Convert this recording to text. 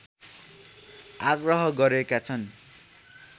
आग्रह गरेका छन्